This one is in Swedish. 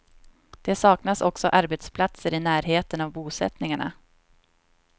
Det saknas också arbetsplatser i närheten av bosättningarna.